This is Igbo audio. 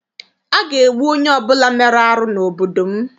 A ga-egbu onye ọbụla mere arụ n'obodo m.